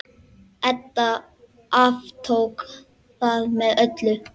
Edda aftók það með öllu.